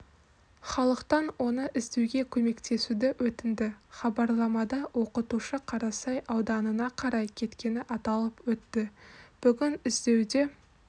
халықтан оны іздеуге көмектесуді өтінді хабарламада оқытушы қарасай ауданына қарай кеткені аталып өтті бүгін іздеуде